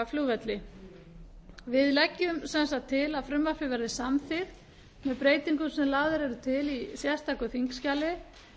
flugvelli meiri hlutinn leggur til að frumvarpið verði samþykkt með breytingum sem lagðar eru til í sérstöku þingskjali